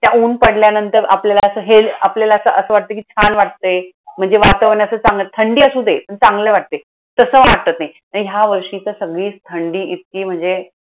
त्या उन्ह पडल्यानंतर आपल्याला असं हे, आपल्या असं असं वाटतं कि छान वाटतंय. म्हणजे वातावरण असं चांगलं, थंडी असू दे पण चांगलं वाटतंय. तसं वाटत नाही. आणि ह्या वर्षी तर थंडी इतकी म्हणजे.